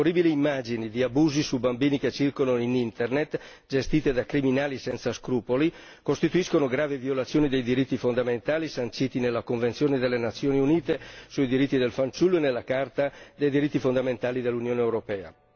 Le orribili immagini di abusi su bambini che circolano in Internet, gestite da criminali senza scrupoli, costituiscono gravi violazioni dei diritti fondamentali, sanciti nella convenzione delle Nazioni Unite sui diritti del fanciullo e nella Carta dei diritti fondamentali dell'Unione europea.